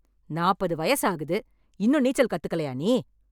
நாப்பது வயசு ஆகுது, இன்னும் நீச்சல் கத்துக்கலயா நீ?